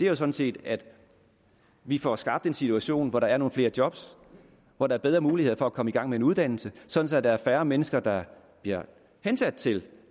er sådan set at vi får skabt en situation hvor der er nogle flere job hvor der er bedre mulighed for at komme i gang med en uddannelse sådan at der er færre mennesker der bliver hensat til